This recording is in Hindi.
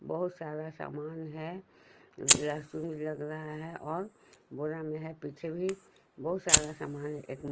बहुत सारा सामान है लहसुन भी लग रहा है और बोरा में है पीछे भी बहुत सारा सामान है एक--